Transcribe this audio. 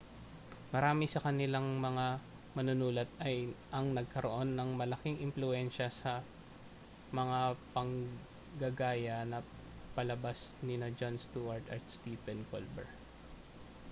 marami sa kanilang mga manunulat ang nagkaroon ng malaking impluwensya sa mga panggagaya na palabas nina jon stewart at stephen colbert